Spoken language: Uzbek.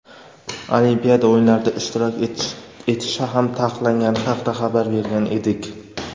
Olimpiada o‘yinlarida ishtirok etishi ham taqiqlangani haqida xabar bergan edik.